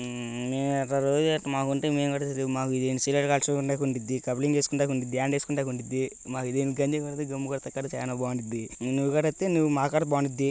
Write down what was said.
అమ్ అమ్ ఒక రోజు మాకుంటే మేము కూడా మాకు సిగరేట్ తాగడానికి ఉన్డిడ్డి. కప్లింగ్ చేసుకోవడానికి ఉన్డిడ్డి. హ్యాండ్ వేసుకోవడానికి ఉన్డిడ్డి. మాకి దేనికని చెప్పి దమ్ము కొట్టడానికి కూడ చానా బావుండిద్ది. నువ్వు గూడ వస్తే ఇంకా మకాడ బావుండిద్ది.